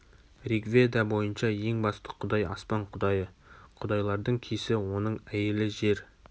ригведа бойынша ең басты құдай аспан құдайы құдайлардың кесі оның әйелі жер